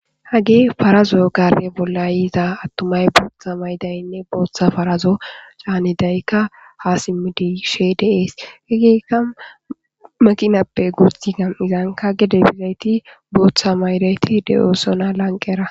hage farazo gare bolla yiiza attumay booththa maydaynne booththa farazo caanidaykka ha simmidi she deees hegeeka maqinappe guuti gam7izanka gede bizayti booththa maydayti de7oosona lanqera